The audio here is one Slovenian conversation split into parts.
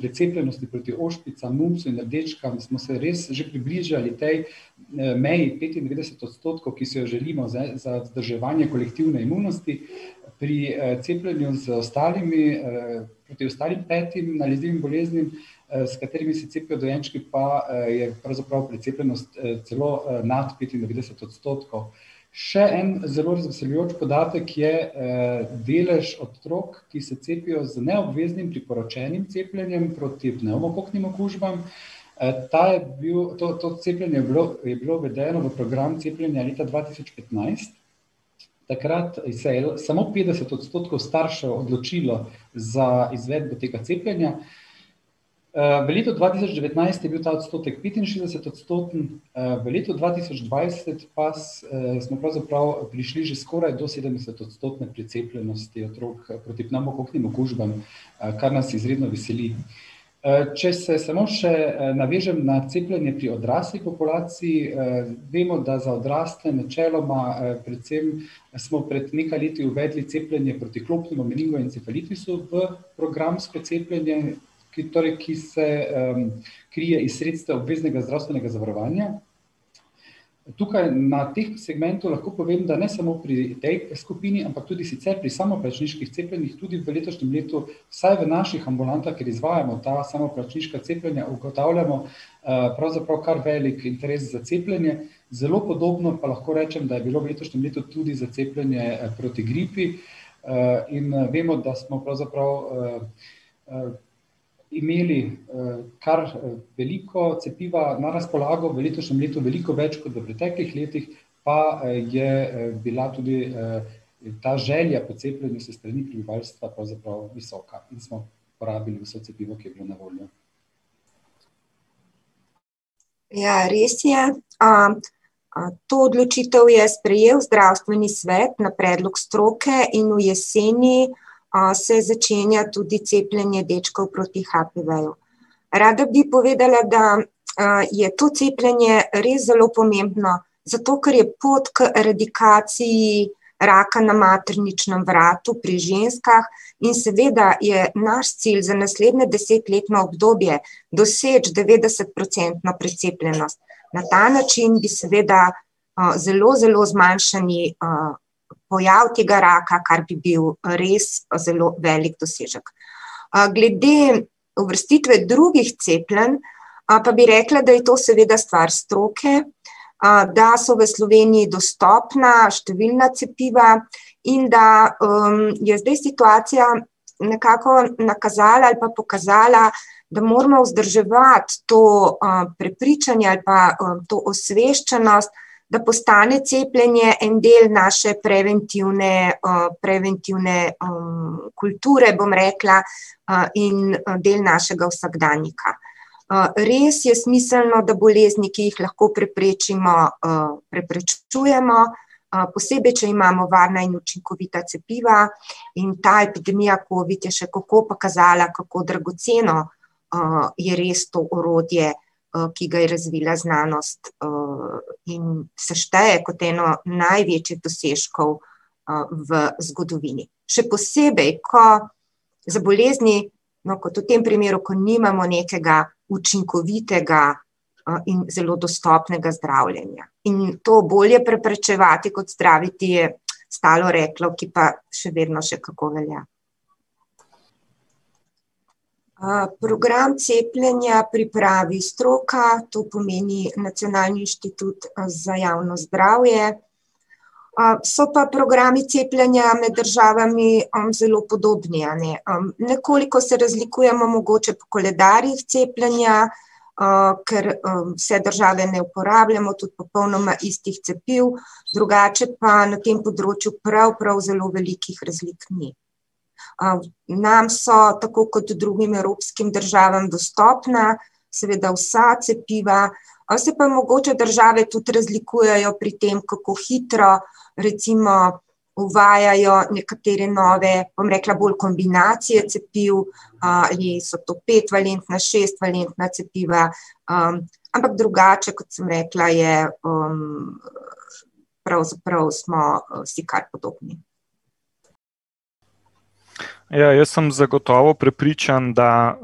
precepljenosti proti ošpicam, mumpsu in rdečkam smo se res že približali tej, meji petindevetdeset odstotkov, ki si jo želimo za, za vzdrževanje kolektivne imunosti, pri, cepljenju z ostalimi, proti ostalim petim nalezljivim boleznim, s katerimi se cepijo dojenčki, pa je pravzaprav precepljenost, celo nad, petindevetdeset odstotkov. Še en zelo razveseljujoč podatek je, delež otrok, ki se cepijo z neobveznim priporočenim cepljenjem proti pnevmokoknim okužbam. ta je bil, to, to cepljenje je je bilo uvedeno v program cepljenja leta dva tisoč petnajst. Takrat se je samo petdeset odstotkov staršev odločilo za izvedbo tega cepljenja. v letu dva tisoč devetnajst je bil ta odstotek petinšestdesetodstoten, v letu dva tisoč dvajset pa smo pravzaprav prišli že skoraj do sedemdesetodstotne precepljenosti otrok proti pnevmokoknim okužbam, kar nas izredno veseli. če se smo še, navežem na cepljenje pri odrasli populaciji, vemo, da za odrasle načeloma predvsem smo pred nekaj leti uvedli cepljenje proti klopnemu meningoencefalitisu v programsko cepljenje, ki torej, ki se, krije iz sredstev obveznega zdravstvenega zavarovanja. Tukaj na tem segmentu lahko povem, da ne samo pri tej skupini, ampak tudi sicer pri samoplačniških cepljenjih tudi v letošnjem letu vsaj v naših ambulantah, kjer izvajamo ta samoplačniška cepljenja, ugotavljamo, pravzaprav kar velik interes za cepljenje. Zelo podobno pa lahko rečem, da je bilo v letošnjem letu tudi za cepljenje, proti gripi. in vemo, da smo pravzaprav, imeli, kar veliko cepiva na razpolago v letošnjem letu. Veliko več kot v preteklih letih, pa je, bila tudi, ta želja po cepljenju s strani prebivalstva pravzaprav visoka in smo porabili vse cepivo, ki je bilo na voljo. Ja, res je. to odločitev je sprejel zdravstveni svet na predlog stroke in v jeseni, se začenja tudi cepljenje dečkov proti HPV-ju. Rada bi povedala, da, je to cepljenje res zelo pomembno, zato ker je pot k eradikaciji raka na materničnem vratu pri ženskah in seveda je naš cilj za naslednje desetletno obdobje doseči devetdesetprocentno precepljenost. Na ta način bi seveda, zelo, zelo zmanjšali, pojav tega raka, kar bi bil res zelo velik dosežek. glede uvrstitve drugih cepljenj pa bi rekla, da je to seveda stvar stroke, da so v Sloveniji dostopna številna cepiva in da, je zdaj situacija nekako nakazala, ali pa pokazala, da moramo vzdrževati to, prepričanje ali pa to osveščenost, da postane cepljenje en del naše preventivne, preventivne, kulture, bom rekla, in, del našega vsakdanjika. res je smiselno, da bolezni, ki jih lahko preprečimo, preprečujmo, posebej, če imamo varna in učinkovita cepiva. In ta epidemija covid je še kako pokazala, kako dragoceno, je res to orodje, ki ga je razvila znanost. in se šteje kot eno največjih dosežkov, v zgodovini. Še posebej, ko za bolezni, kot v tem primeru, ko nimamo nekega učinkovitega, in zelo dostopnega zdravljenja. In to "bolje preprečevati kot zdraviti" je staro reklo, ki pa še vedno še kako velja. program cepljenja pripravi stroka, to pomeni Nacionalni inštitut za javno zdravje. so pa programi cepljenja med državami zelo podobni, a ne. nekoliko se razlikujmo mogoče po koledarjih cepljenja, ker, vse države ne uporabljamo tudi popolnoma istih cepiv, drugače pa na tem področju prav, prav zelo velikih razlik ni. nam so, tako kot drugim evropskim državam dostopna seveda vsa cepiva. se pa mogoče države tudi razlikujejo pri tem, kako hitro recimo uvajajo nekatere nove, bom rekla, bolj kombinacije cepiv. ali so to petvalentna, šestvalentna cepiva. ampak drugače, kot sem rekla, je, pravzaprav smo si kar podobni. Ja, jaz sem zagotovo prepričan, da,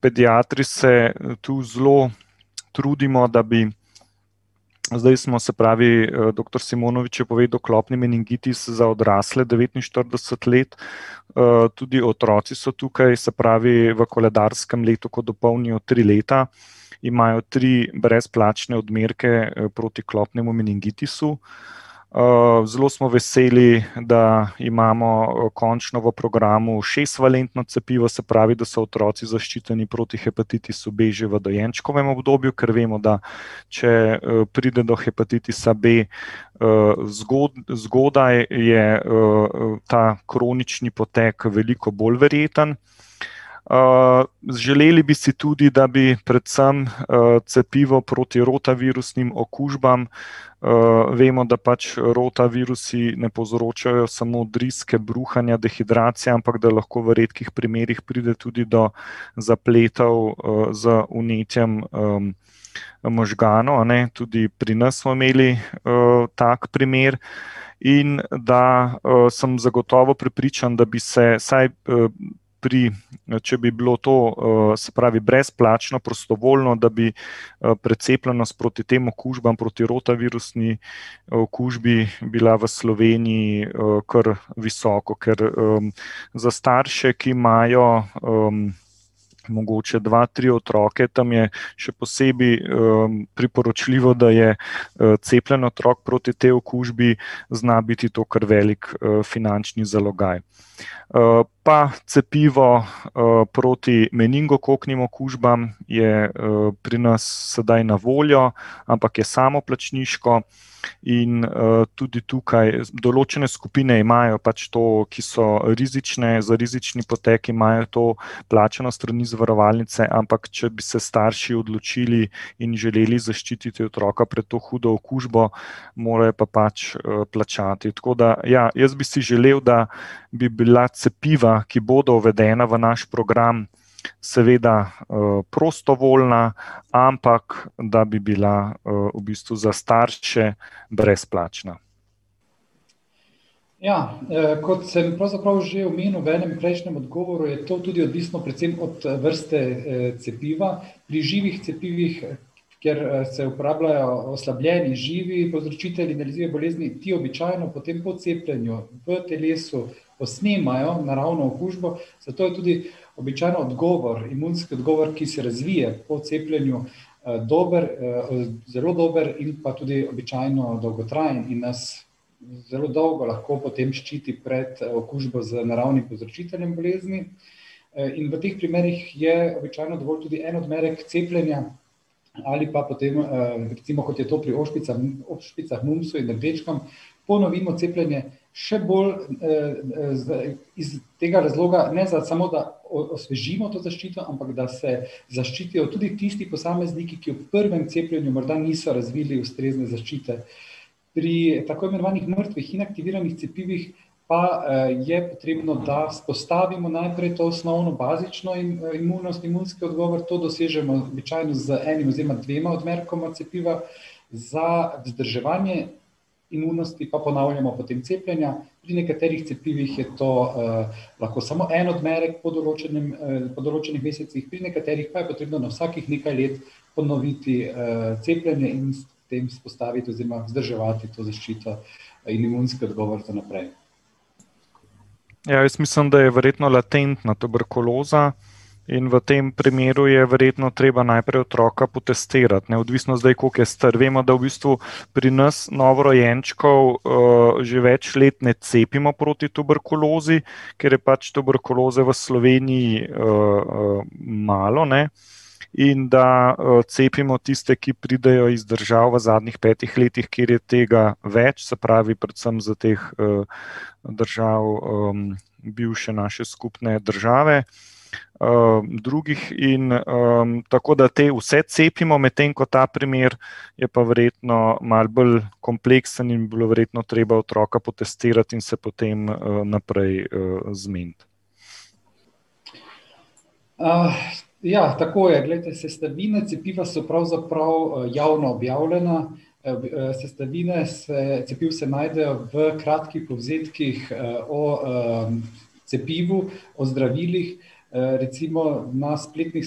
pediatri se tu zelo trudimo, da bi, zdaj smo, se pravi, doktor Simonovič je povedal, klopni meningitis za odrasle devetinštirideset let. tudi otroci so tukaj, se pravi v koledarskem letu, ko dopolnijo tri leta, imajo tri brezplačne odmerke proti klopnemu meningitisu. zelo smo veseli, da imamo končno v programu šestvalentno cepivo, se pravi, da so otroci zaščiteni proti hepatitisu B že v dojenčkovem obdobju, ker vemo, da če, pride do hepatitisa B, zgodaj, je, ta kronični potek veliko bolj verjetno. želeli bi si tudi, da bi predvsem, cepivo proti rotavirusnim okužbam, vemo, da pač, rotavirusi ne povzročajo samo driske, bruhanja, dehidracije, ampak da lhko v redkih primerih pride tudi do zapletov, z vnetjem, možganov, a ne. Tudi pri nas smo imeli, tak primer. In da, sem zagotovo prepričan, da bi se vsaj, pri, če bi bilo to, se pravi brezplačno, prostovoljno, da bi, precepljenost proti tem okužbam, proti rotavirusni okužbi bila v Sloveniji kar visoka. Ker, za starše, ki imajo, mogoče dva, tri otroke, tam je še posebej, priporočljivo, da je cepljen otrok proti tej okužbi, zna biti to kar velik finančni zalogaj. pa cepivo, proti meningokoknim okužbam je, pri nas sedaj na voljo, ampak je samoplačniško. In, tudi tukaj določne skupine imajo pač to, ki so rizične, za rizični potek, imajo to plačano s strani zavarovalnice. Ampak če bi se starši odločili in želeli zaščititi otroka pred to hudo okužbo, morajo pa pač, plačati. Tako da ja, jaz bi si želel, da bi bila cepiva, ki bodo uvedena v naš program, seveda, prostovoljna, ampak da bi bila, v bistvu za starše brezplačna. Ja. kot sem pravzaprav že omenil v prejšnjem odgovoru, je to tudi odvisno predvsem od vrste, cepiva. Pri živih cepivih, kjer se uporabljajo oslabljeni živi povzročitelji nalezljive bolezni, ti običajno potem po cepljenju v telesu posnemajo naravno okužbo, zato je tudi običajno odgovor, imunski odgovor, ki se razvije po cepljenju, dober, zelo dober in pa tudi običajno dolgotrajen in nas zelo dolgo lahko potem ščiti pred, okužbo z naravnim povzročiteljem bolezni. in v teh primerih je običajno dovolj tudi en odmerek cepljenja ali pa potem, recimo kot je to pri ošpicah, mumpsu in rdečkam, ponovimo cepljenje še bolj, iz tega razloga, ne samo, da osvežimo to zaščito, ampak da se zaščitijo tudi tisti posamezniki, ki v prvem cepljenju morda niso razvili ustrezne zaščite. Pri tako imenovanih mrtvih, inaktiviranih cepivih pa, je potrebno, da vzpostavimo najprej osnovno, bazično imunost, imunski odgovor. To dosežemo običajno z enim oziroma dvema odmerkoma cepiva. Za vzdrževanje imunosti pa ponavljamo potem cepljenja. Pri nekaterih cepivih je to, lahko samo en odmerek po določenem, po določenih mesecih, pri nekaterih pa je potrebno na vsakih nekaj let ponoviti, cepljenje in s tem vzpostaviti oziroma vzdrževati to zaščito in imunski odgovor vnaprej. jaz mislim, da je verjetno latentna tuberkuloza in v tem primeru je verjetno treba najprej otroka potestirati, ne. Odvisno zdaj, koliko je star. Vemo, da v bistvu pri nas novorojenčkov, že več let ne cepimo proti tuberkulozi, ker je pač tuberkuloze v Sloveniji, malo, ne, in da, cepimo tiste, ki pridejo iz držav v zadnjih petih letih, kjer je tega več. Se pravi predvsem iz teh, držav, bivše naše skupne države. drugih in, ... Tako da te vse cepimo, medtem ko ta primer je pa verjetno malo bolj kompleksen in bi bilo verjetno treba otroka potestirati in se potem, naprej, zmeniti. ja, tako je. Glejte, sestavine cepiva so pravzaprav, javno objavljene. v, sestavine se cepiv se najdejo v kratkih povzetkih o, cepivu, o zdravilih. recimo na spletnih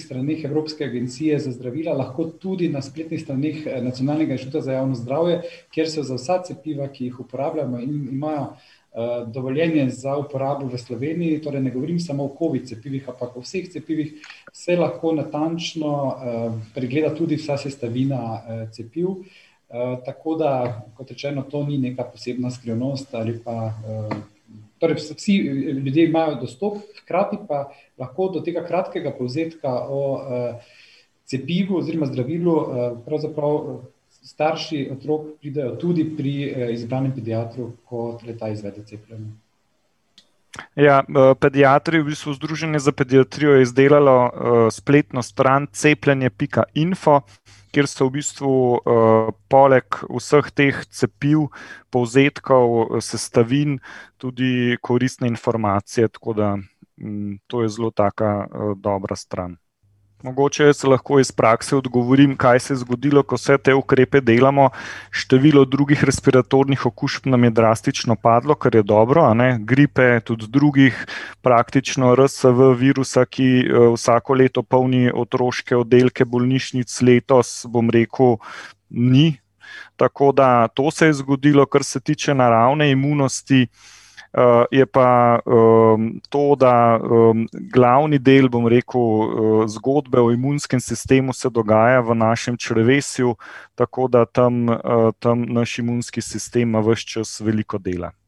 straneh Evropske agencije za zdravila, lahko tudi na spletnih straneh Nacionalnega inštituta za javno zdravje, kjer so za vsa cepiva, ki jih uporabljamo in imajo, dovoljenje za uporabo v Sloveniji, torej ne govorim samo o covid cepivih, ampak o vseh cepivih, se lahko natančno, pregleda tudi vsa sestavina, cepiv. tako da, kot rečeno, to ni neka posebna skrivnost ali pa, ... Torej vsi ljudje imajo dostop, hkrati pa lahko do tega kratkega povzetka o, cepivu oziroma zdravilu, pravzaprav starši otrok pridejo tudi pri, izbranem pediatru, ko le-ta izvede cepljenje. Ja, pediatri, v bistvu Združenje za pediatrijo, je izdelalo, spletno stran cepljenje pika info, kjer so v bistvu, poleg vseh teh cepiv, povzetkov, sestavin tudi koristne informacije, tako da, to je zelo taka, dobra stran. Mogoče jaz lahko iz prakse odgovorim, kaj se je zgodilo, ko vse te ukrepe delamo. Število drugih respiratornih okužb nam je drastično padlo, kar je dobro, a ne. Gripe, tudi drugih. Praktično RSV virusa, ki, vsako leto polni oddelke otroških bolnišnic, letos, bom rekel, ni. Tako da to se je zgodilo. Kar se tiče naravne imunosti, je pa, to, da, glavni del, bom rekel, zgodbe o imunskem sistemu se dogaja v našem črevesju, tako da tam, tam naš imunski sistem ima ves čas veliko dela.